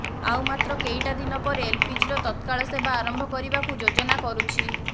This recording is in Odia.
ଆଉ ମାତ୍ର କେଇଟା ଦିନ ପରେ ଏଲପିଜିର ତତ୍କାଳ ସେବା ଆରମ୍ଭ କରିବାକୁ ଯୋଜନା କରୁଛି